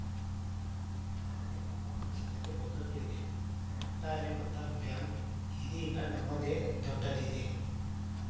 ಆದರೆ ನಮ್ಮ ಪಕ್ಷದಲ್ಲಿ ಒಗ್ಗಟ್ಟು ಇದೆ ಒಟ್ಟಾರೆ ಮತ ಬ್ಯಾಂಕ್‌ ಇದೀಗ ನಮ್ಮದೇ ದೊಡ್ಡದಿದೆ